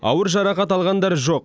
ауыр жарақат алғандар жоқ